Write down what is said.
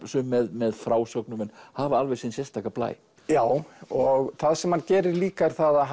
sum með frásögnum en hafa alveg sinn sérstaka blæ já og það sem hann gerir líka er að